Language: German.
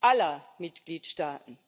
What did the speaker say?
aller Mitgliedstaaten.